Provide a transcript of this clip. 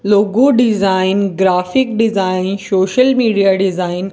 logo design graphic design social media design --